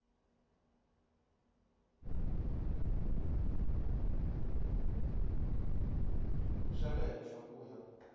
xa le henhla ku ya